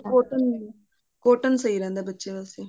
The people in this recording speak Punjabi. cotton cotton ਸਹੀ ਰਹਿੰਦਾ ਬੱਚਿਆਂ ਵਾਸਤੇ